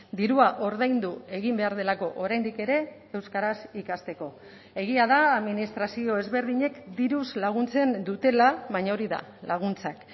dirua ordaindu egin behar delako oraindik ere euskaraz ikasteko egia da administrazio ezberdinek diruz laguntzen dutela baina hori da laguntzak